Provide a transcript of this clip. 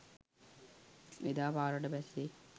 එදා පාරට බැස්සේ